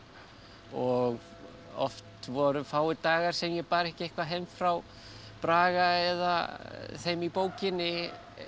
og oft voru fáir dagar sem ég bar ekki eitthvað heim frá Braga eða þeim í bókinni